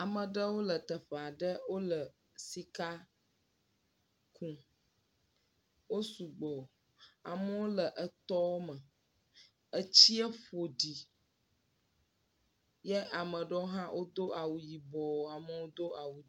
Ame aɖewo le teƒe aɖe wole sika kum wosu gbɔ amewo le etɔ me, etsi ƒoɖi ye ame aɖewo hã wodo awu yibɔ, amewo do awu ʋi.